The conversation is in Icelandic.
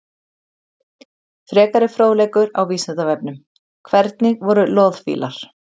Frekari fróðleikur á Vísindavefnum: Hvernig voru loðfílar?